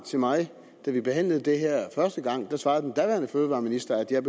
til mig da vi behandlede det her første gang svarede den daværende fødevareminister at jeg